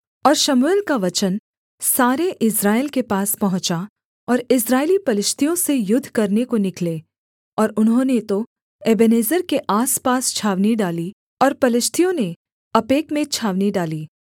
और शमूएल का वचन सारे इस्राएल के पास पहुँचा और इस्राएली पलिश्तियों से युद्ध करने को निकले और उन्होंने तो एबेनेजेर के आसपास छावनी डाली और पलिश्तियों ने अपेक में छावनी डाली